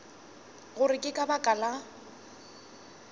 gore ke ka baka la